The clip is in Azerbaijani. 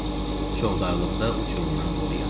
Çovdarlıda uçurumdan qoruyan.